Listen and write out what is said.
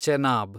Chenab